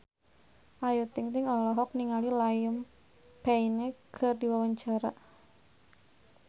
Ayu Ting-ting olohok ningali Liam Payne keur diwawancara